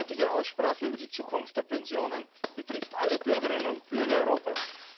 Die heutige Aussprache über die Zukunft der Pensionen betrifft alle Bürgerinnen und Bürger Europas.